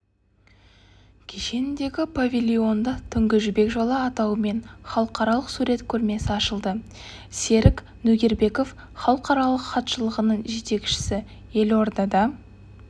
кешеніндегі павильонында түнгі жібек жолы атауымен халықаралық сурет көрмесі ашылды серік нөгербеков халықаралық хатшылығының жетекшісі елордада